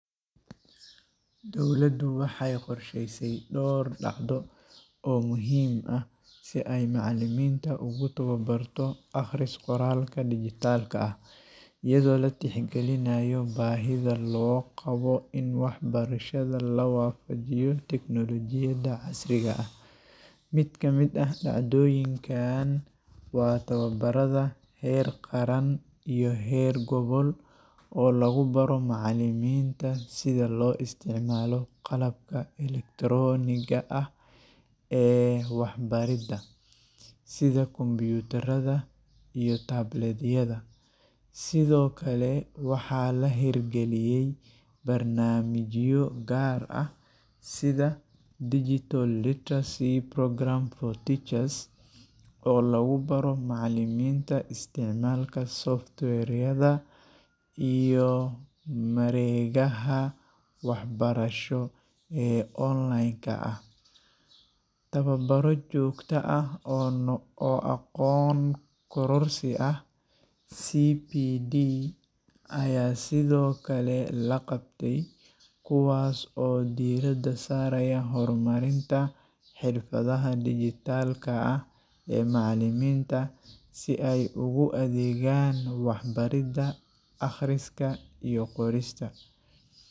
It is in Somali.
Dowladdu waxay qorshaysay dhowr dhacdo oo muhiim ah si ay macalimiinta ugu tababarto akhris-qoraalka dhijitaalka ah, iyadoo la tixgelinayo baahida loo qabo in waxbarashada la waafajiyo tignoolajiyada casriga ah. Mid ka mid ah dhacdooyinkan waa tababarrada heer qaran iyo heer gobol oo lagu baro macalimiinta sida loo isticmaalo qalabka elektaroonigga ah ee waxbaridda, sida kombiyuutarada iyo tablet-yada. Sidoo kale, waxaa la hirgeliyay barnaamijyo gaar ah sida “Digital Literacy Program for Teachers” oo lagu baro macalimiinta isticmaalka software-yada iyo mareegaha waxbarasho ee online-ka ah. Tababaro joogto ah oo no oo aqoon-kororsi ah (CPD) ayaa sidoo kale la qabtey, kuwaas oo diiradda saaraya horumarinta xirfadaha dhijitaalka ah ee macalimiinta si ay ugu adeegaan waxbaridda akhriska iyo qorista.